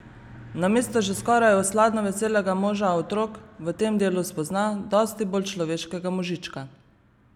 Namesto že skoraj osladno veselega moža otrok v tem delu spozna dosti bolj človeškega možička.